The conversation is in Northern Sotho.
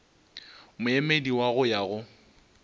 moemedi wa go ya go